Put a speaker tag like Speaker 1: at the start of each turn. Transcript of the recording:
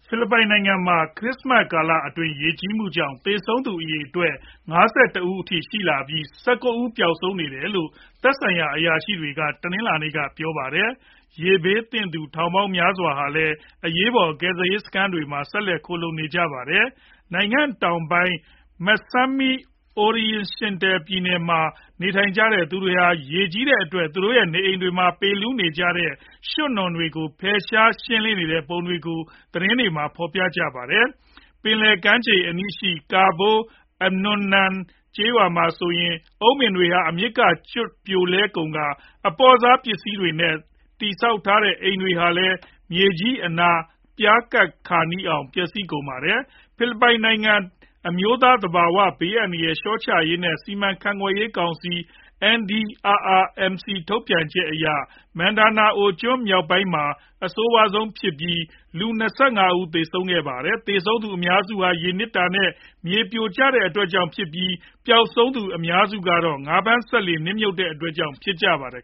Speaker 1: ဖိလစ်ပိုင်နိုင်ငံမှာ ခရစ္စမတ် ကာလ ရေကြီးမှုကြောင့် သေဆုံးသူ အရေအတွက် ၅၁ ဦးအထိရှိလာပြီး ၁၉ ဦး ပျောက်ဆုံးနေတယ်လို့ သက်ဆိုင်ရာ အရာရှိတွေက တနင်္လာနေ့က ပြောပါတယ်။ ရေဘေးသင့်သူ ထောင်ပေါင်းများစွာဟာလည်း အရေးပေါ် ကယ်ဆယ်ရေးစခန်းတွေမှာ ဆက်လက် ခိုလှုံနေကြရတာပါ။ နိုင်ငံတောင်ပိုင်း Misamis Occidental ပြည်နယ်မှာ နေထိုင်ကြသူတွေဟာ ရေကြီးတဲ့အတွက် သူတို့ရဲ့ နေအိမ်တွေမှာ ပေလူးနေကြတဲ့ ရွှံ့နွံတွေကို ဖယ်ရှား ရှင်းလင်းနေကြတဲ့ပုံတွေကို သတင်းတွေမှာ ဖော်ပြကြပါတယ်။ ပင်လယ်ကမ်းခြေအနီး Cabol anonan ကျေးရွာမှာဆိုရင် အုန်းပင်းတွေ အမြစ်ကနေကျွတ် ပြိုလဲကုန်ကာ အပေါ့စားပစ္စည်တွေနဲ့ တည်ဆောက်ထားတဲ့ အိမ်တွေဟာလည်း မြေကြီးအနား ပြားကပ်ခါနီးအောင် ပျက်စီးကုန်ပါတယ်။ ဖိလစ်ပိုင်နိုင်ငံ အမျိုးသား သဘာဝ ဘေးအန္တရာယ် လျှော့ချရေး နဲ့ စီမံခန့်ခွဲရေး ကောင်စီ NDRRMC ထုတ်ပြန်ချက်အရ Mindanao မြောက်ပိုင်းဒေသမှာ အဆိုးဝါးဆုံးဖြစ်ပြီး လူ ၂၅ ဦးသေဆုံးခဲ့ပါတယ်။ သေဆုံးသူ အများစုဟာ ရေနစ်တာ နဲ့ မြေပြိုကျတဲ့အတွက်ကြောင့်ဖြစ်ပြီး ပျေက်ဆုံးသူတွေထဲမှာ အများစုကတော့ ငါးဖမ်းစက်လှေ နစ်မြုပ်တဲ့အတွက်ကြောင့် ဖြစ်ကြပါတယ်